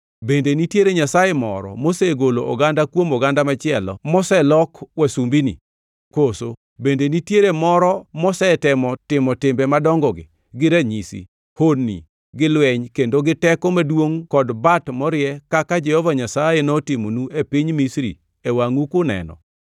Bende nitiere nyasaye moro mosegolo oganda kuom oganda machielo moselok wasumbini? Koso bende nitiere moro mosetemo timo timbe madongogi gi ranyisi, honni gi lweny kendo gi teko maduongʼ kod bat morie kaka Jehova Nyasaye notimonu e piny Misri e wangʼu kuneno.